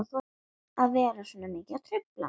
Hún hafði ekki náð að gera það fyrir áramótin.